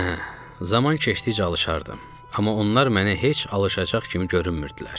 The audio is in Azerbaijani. Hə, zaman keçdikcə alışardım, amma onlar mənə heç alışacaq kimi görünmürdülər.